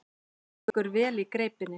Liggur vel í greipinni.